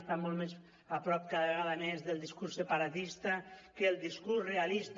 estan molt més a prop cada vegada més del discurs separatista que del discurs realista